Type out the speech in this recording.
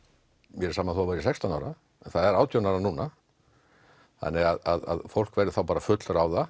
mér er sama þó það væri sextán ára það er átján ára núna þannig að fólk verður bara